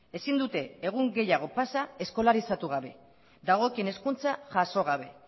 ezin dute egun gehiago pasa eskolarizatu gabe dagokien hezkuntza jaso gabe